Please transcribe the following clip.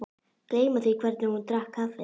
Gleyma því hvernig hún drakk kaffið.